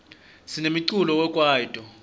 sinemiculo we kwaito